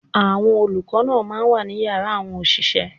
Àwọn olùkọ́ náà máa ń wà ní yàrá àwọn òṣìṣẹ́.